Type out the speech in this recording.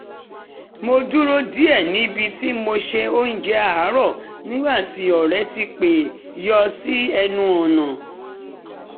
mo dúró díẹ̀ níbi tí mo ṣe oúnjẹ àárọ̀ nígbà ọ̀rẹ́ ti pẹ́ yọ sí ẹnu ọ̀nà